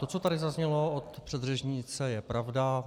To, co tady zaznělo od předřečnice, je pravda.